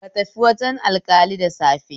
Ka tafi wajen alƙali da safe